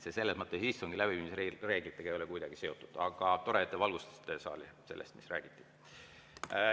See ei ole istungi läbiviimise reeglitega kuidagi seotud, aga tore, et te valgustasite saali sellest, mis seal räägiti.